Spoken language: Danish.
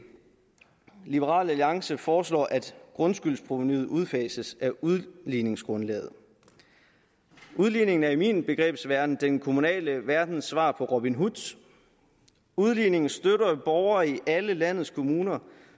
liberal alliance foreslår at grundskyldsprovenuet udfases af udligningsgrundlaget udligningen er i min begrebsverden den kommunale verdens svar på robin hood udligningen støtter borgere i alle landets kommuner